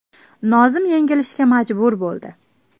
Nozim yengilishga majbur bo‘ldi.